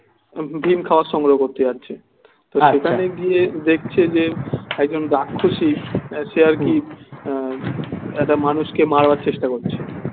ভীম খাবার সংগ্রহ করতে যাচ্ছে তো সেখানে গিয়ে দেখছে যে একজন রাক্ষুসী সে আর কি একটা মানুষকে মারবার চেষ্টা করছে